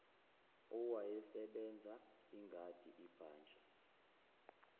owayesebenza ingadi ibhantshi